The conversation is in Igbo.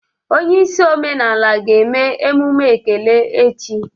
Onye isi omenala ga-eme emume ekele echi.